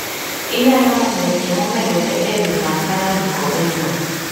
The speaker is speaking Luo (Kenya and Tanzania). Inyalo manyo weche momedore e wi ng'at ma nondiko wendno.